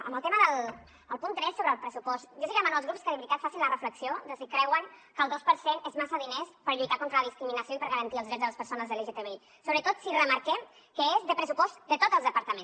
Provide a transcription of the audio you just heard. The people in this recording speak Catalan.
en el tema del punt tres sobre el pressupost jo sí que demano als grups que de veritat facin la reflexió de si creuen que el dos per cent és massa diners per lluitar contra la discriminació i per garantir els drets de les persones lgtbi sobretot si remarquem que és de pressupost de tots els departaments